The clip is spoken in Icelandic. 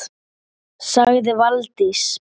sagði Valdís